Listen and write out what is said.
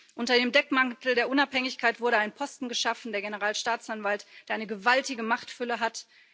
Unter dem Deckmantel der Unabhängigkeit wurde ein Posten geschaffen der Generalstaatsanwalt der eine gewaltige Machtfülle hat.